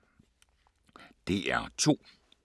DR2